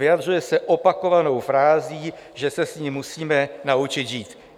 Vyjadřuje se opakovanou frází, že se s ní musíme naučit žít.